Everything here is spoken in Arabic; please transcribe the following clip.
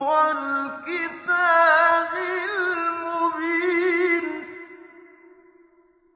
وَالْكِتَابِ الْمُبِينِ